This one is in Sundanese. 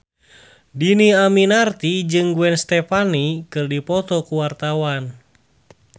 Dhini Aminarti jeung Gwen Stefani keur dipoto ku wartawan